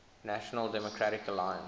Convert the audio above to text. national democratic alliance